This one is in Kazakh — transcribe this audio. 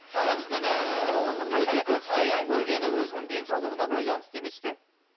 ағамыздың көргені өзінің денсаулығына байланысты емес пе